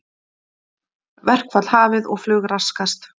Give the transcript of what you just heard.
Verkfall hafið og flug raskast